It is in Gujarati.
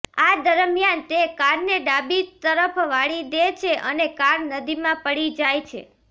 આ દરમિયાન તે કારને ડાબી તરફ વાળી દે છે અને કાર નદીમાં પડી જાય છે